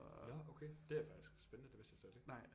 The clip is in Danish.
Nåh okay det er faktisk spændende det vidste jeg slet ikke